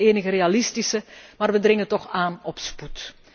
Dat is het enige realistische, maar wij dringen toch aan op spoed.